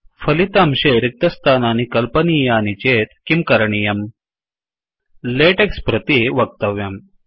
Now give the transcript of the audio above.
फलितांशे रिक्तस्थानानि कल्पनीयानि चेत् किं करणीयम्160 लेटेक्स् प्रति वक्तव्यम्